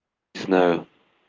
не знаю